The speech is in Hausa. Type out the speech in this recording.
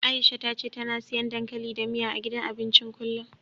Aisha ta ce tana siyan dankali da miya, a gidan abincin kullum.